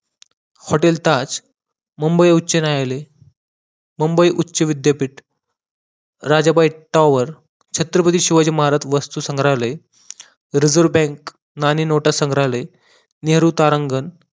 HotelTaaj Mumbai उच्च न्यायालय, मुंबई उच्च विद्यापीठ राजा बक्तावर, छत्रपती शिवाजी महाराज वस्तू संग्रहालय, रिजर्व बँक, नाणी नोटा संग्रहालय, नेहरू तारांगण